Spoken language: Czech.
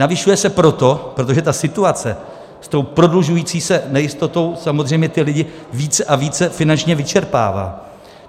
Navyšuje se proto, protože ta situace s tou prodlužující se nejistotou samozřejmě ty lidi více a více finančně vyčerpává.